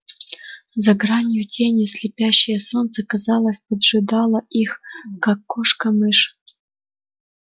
за гранью тени слепящее солнце казалось поджидало их как кошка мышь